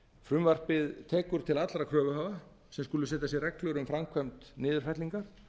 frumvarpið tekur til allra kröfuhafa sem skulu setja sér reglur um framkvæmd niðurfellinga